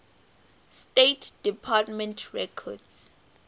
state department records